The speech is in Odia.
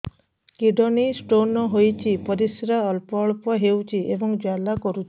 କିଡ଼ନୀ ସ୍ତୋନ ହୋଇଛି ପରିସ୍ରା ଅଳ୍ପ ଅଳ୍ପ ହେଉଛି ଏବଂ ଜ୍ୱାଳା କରୁଛି